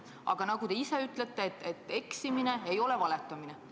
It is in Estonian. Aga nagu te ise ütlete, eksimine ei ole valetamine.